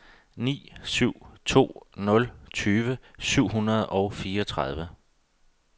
ni syv to nul tyve syv hundrede og fireogtredive